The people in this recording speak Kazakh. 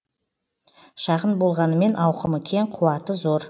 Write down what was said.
шағын болғанымен ауқымы кең қуаты зор